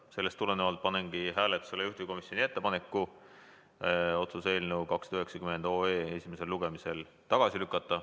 Sellest tulenevalt panengi hääletusele juhtivkomisjoni ettepaneku otsuse eelnõu 290 esimesel lugemisel tagasi lükata.